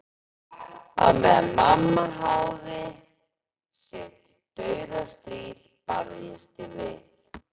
Á meðan mamma háði sitt dauðastríð barðist ég við